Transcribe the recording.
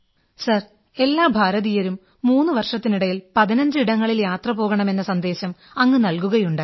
sir എല്ലാ ഭാരതീയരും 3 വർഷത്തിനിടയിൽ 15 ഇടങ്ങളിൽ യാത്ര പോകണമെന്ന സന്ദേശം അങ്ങ് നൽകുകയുണ്ടായി